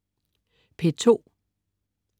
P2: